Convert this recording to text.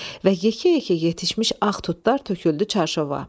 Və yekə-yekə yetişmiş ağ tutlar töküldü çarşova.